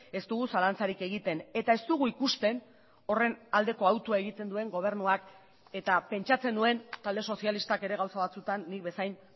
ez dugu zalantzarik egiten eta ez dugu ikusten horren aldeko hautua egiten duen gobernuak eta pentsatzen nuen talde sozialistak ere gauza batzutan nik bezain